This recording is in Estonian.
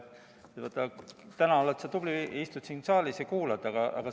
Täna oled sa tubli, istud siin saalis ja kuulad.